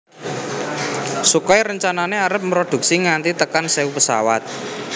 Sukhoi rencana arep mrodhuksi nganti tekan sewu pesawat